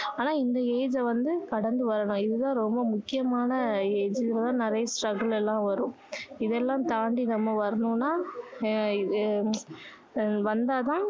ஆனா இந்த age அ வந்து கடந்து வரணும் இது தான் ரொம்ப முக்கியமான இதுல தான் நிறைய struggle எல்லாம் வரும் இதெல்லாம் தாண்டி நம்ம வரணுனா எர் அஹ் வந்தாதான்